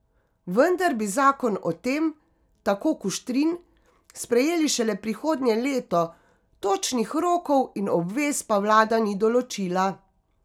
Vendar bi zakon o tem, tako Kuštrin, sprejeli šele prihodnje leto, točnih rokov in obvez pa vlada ni določila.